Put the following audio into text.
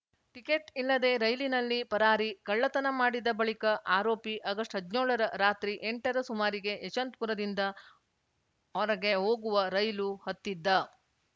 ticket ಇಲ್ಲದೇ ರೈಲಿನಲ್ಲಿ ಪರಾರಿ ಕಳ್ಳತನ ಮಾಡಿದ ಬಳಿಕ ಆರೋಪಿ ಆಗಸ್ಟ್ಹದ್ನ್ಯೋಳ ರ ರಾತ್ರಿ ಎಂಟ ರ ಸುಮಾರಿಗೆ ಯಶವಂತಪುರದಿಂದ ಔರಗೆ ಹೋಗುವ ರೈಲು ಹತ್ತಿದ್ದ